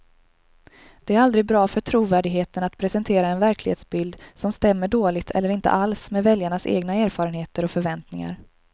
Det är aldrig bra för trovärdigheten att presentera en verklighetsbild som stämmer dåligt eller inte alls med väljarnas egna erfarenheter och förväntningar.